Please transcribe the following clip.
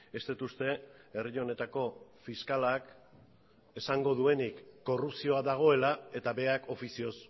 ez dut uste herri honetako fiskalak esango duenik korrupzioa dagoela eta berak ofizioz